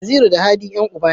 Naziru da Hadi Yan uba ne